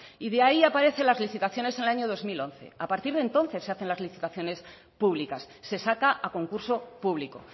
y de ahí aparecen las licitaciones en el año dos mil once a partir de entonces se hacen las licitaciones públicas se saca a concurso público